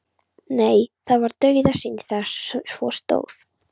Nei, það var dauðasynd þegar svo stóð á.